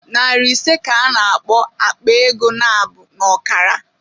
Nari ise ka a na-akpọ "Akpa ego nabụ n'ọkara"